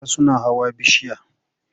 Yaran suna hawa bishiya.